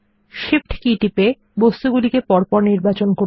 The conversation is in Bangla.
Shift কী টিপে বস্তুগুলিকে পরপর নির্বাচন করুন